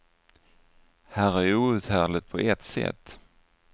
Här är outhärdligt på ett sätt.